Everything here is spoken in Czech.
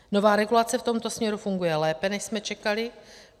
Nová regulace v tomto směru funguje lépe, než jsme čekali.